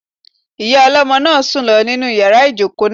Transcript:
Ìyá ọlọ́mọ náà sùn lọ nínu yàrá ìjòkó náà